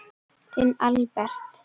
Þinn Albert.